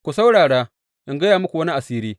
Ku saurara, in gaya muku wani asiri.